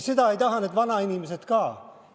Seda ei taha need vanainimesed ka.